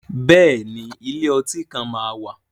Bẹ́ẹ̀ ni, ilé ọtí kan máa wà.